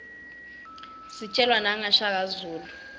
sijelwa naqa shaka zulu